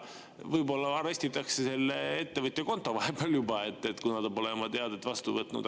Võib-olla arestitakse selle ettevõtja konto vahepeal juba, kuna ta pole oma teadet vastu võtnud.